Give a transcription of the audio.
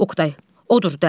Oqtay, odur da.